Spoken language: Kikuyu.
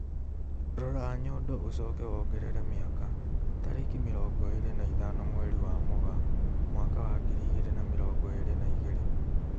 Rora nyondo ũcoke wongerere mĩaka, tarĩki mĩrongo ĩrĩ na ithano mweri wa Mugaa mwaka wa ngiri igĩri na mĩrongo irĩ na igĩrĩ